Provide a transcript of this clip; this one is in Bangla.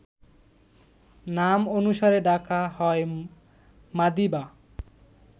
নাম অনুসারে ডাকা হয় মাদিবা